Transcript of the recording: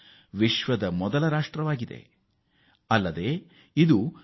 ಮತ್ತು ಮತ್ತೊಂದು ಹೃದಯಸ್ಪರ್ಶಿ ಸಂಗತಿ ಎಂದರೆ ಇದು ಪಿ